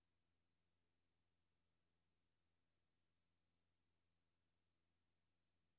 De unge, der takket være familiens indsats har fået job og indflydelse, skal give familien noget igen.